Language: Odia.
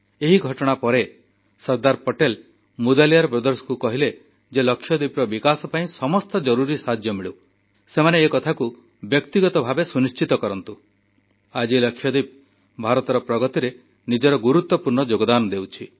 ଏହି ଘଟଣା ପରେ ସର୍ଦ୍ଦାର ପଟେଲ ମୁଦାଲିୟାର ଭ୍ରାତାଙ୍କୁ କହିଲେ ଯେ ଲାକ୍ଷାଦ୍ୱୀପର ବିକାଶ ପାଇଁ ସମସ୍ତ ଜରୁରି ସାହାଯ୍ୟ ମିଳୁ ସେକଥା ସେମାନେ ବ୍ୟକ୍ତିଗତ ଭାବେ ସୁନିଶ୍ଚିତ କରନ୍ତୁ ଆଜି ଲାକ୍ଷାଦ୍ୱୀପ ଭାରତର ପ୍ରଗତିରେ ନିଜର ଗୁରୁତ୍ୱପୂର୍ଣ୍ଣ ଯୋଗଦାନ ଦେଉଛି